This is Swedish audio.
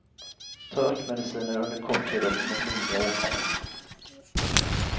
Ta örtmediciner under kort tid och mot lindriga åkommor.